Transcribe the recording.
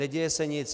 Neděje se nic.